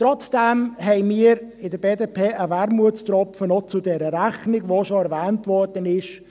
Trotzdem haben wir in der BDP noch einen Wermutstropfen zu dieser Rechnung, der schon erwähnt worden ist.